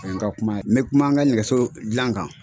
O ye n ka kuma ye n bɛ kuma n ka nɛgɛso dilan kan.